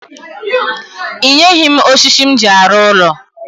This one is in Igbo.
I nyeghi m oshishi m ji aru ulo